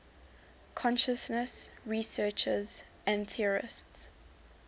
consciousness researchers and theorists